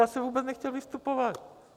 Já jsem vůbec nechtěl vystupovat.